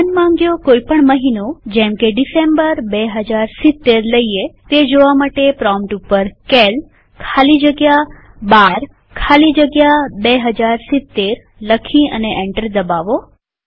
મનમાંગ્યો કોઈ પણ મહિનોજેમકે ડિસેમ્બર ૨૦૭૦ લઈએ તે જોવા પ્રોમ્પ્ટ ઉપર સીએએલ ખાલી જગ્યા 12 ખાલી જગ્યા 2070 લખી અને એન્ટર દબાવો